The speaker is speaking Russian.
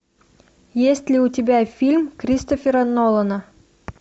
есть ли у тебя фильм кристофера нолана